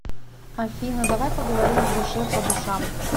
афина давай поговорим в душе по душам